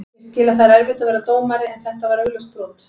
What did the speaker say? Ég skil að það er erfitt að vera dómari en þetta var augljóst brot.